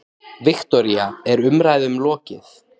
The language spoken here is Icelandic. Viktoría, er umræðum lokið?